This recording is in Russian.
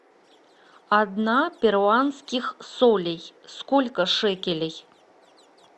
одна перуанских солей сколько шекелей